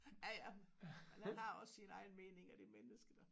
Ja ja men han har også sine egne meninger det menneske da